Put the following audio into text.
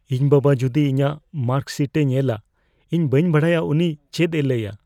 ᱤᱧ ᱵᱟᱵᱟ ᱡᱩᱫᱤ ᱤᱧᱟᱜ ᱢᱟᱨᱠᱥᱦᱤᱴᱮ ᱧᱮᱞᱟ, ᱤᱧ ᱵᱟᱹᱧ ᱵᱟᱰᱟᱭᱟ ᱩᱱᱤ ᱪᱮᱫ ᱮ ᱞᱟᱹᱭᱼᱟ ᱾